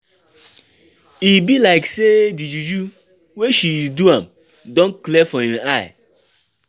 E be like say di juju wey she do am don clear for im eye.